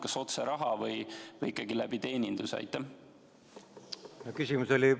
Kas toetada otse raha abil või ikkagi läbi teeninduse?